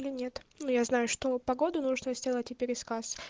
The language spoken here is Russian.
или нет но я знаю что погоду нужно сделать и пересказ